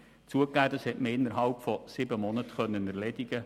Zugegeben, diese Sache konnte innerhalb von sieben Monaten erledigen werden.